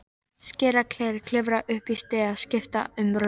Skera gler, klifra upp í stiga, skipta um rúður.